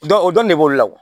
Dɔn o dɔrɔn de b'o la